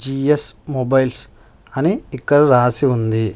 G S mobiles అని ఇక్కడ రాసి ఉంది.